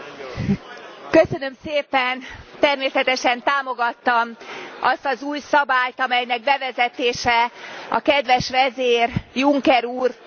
Természetesen támogattam azt az új szabályt, amelynek bevezetése a kedves vezér, Juncker úr tevékenysége miatt volt szükséges.